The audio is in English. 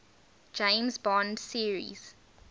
james bond series